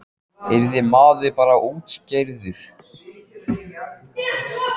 Yrði maður bara útkeyrður?